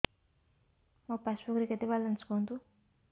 ମୋ ପାସବୁକ୍ ରେ କେତେ ବାଲାନ୍ସ କୁହନ୍ତୁ